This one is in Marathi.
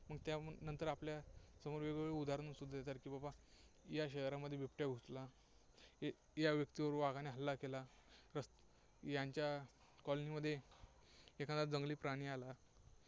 मग त्या नंतर आपल्या समोर वेग-वेगळे उदाहरणं दिसून येतात की बाबा, या शहरामध्ये बिबट्या घुसला, या व्यक्तीवर वाघाने हल्ला केला, यांच्या college मध्ये एखादा जंगली प्राणी आला.